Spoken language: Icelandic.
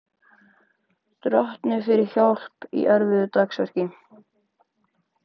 Drottni fyrir hjálp í erfiðu dagsverki.